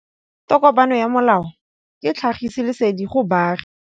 Tokomane ya molao ke tlhagisi lesedi go baagi.